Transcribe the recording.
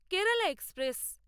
Kerala express